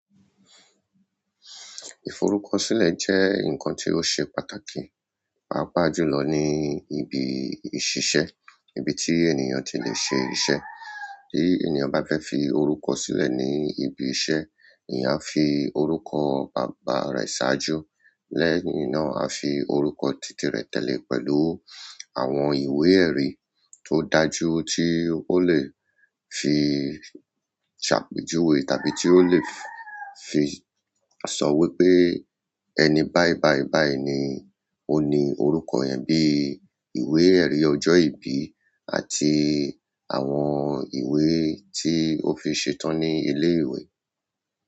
Ìforúkọsílẹ̀ jẹ́ ǹkan tí ó ṣe pàtàkì, pàápàá jùlọ ní ibi ìṣiṣẹ́, ibi tí ènìyàn ti lè ṣe ìṣe. Bí ènìyàn bá fẹ́ fi orúkọ sílẹ̀ ní ibi iṣẹ́, ènìyàn á fi orúkọ baba rẹ̀ ṣáájú. Lẹ́yìn náà á fi orúkọ títì rẹ̀ tẹ̀lé pẹ̀lú àwọn ìwé-ẹ̀rí tó dájú tí ó lè fi ṣàpejuwe tàbí tí ó lè fi sọ́ wípé ẹni báì báì báì ni ó ní orúkọ yẹn bíi ìwé-ẹ̀rí ọjọ́ ìbí àti àwọn ìwé tí ó fi ṣetán ní ilé-ìwé.